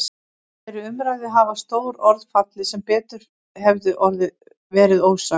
Í þeirri umræðu hafa stór orð fallið sem betur hefðu verið ósögð.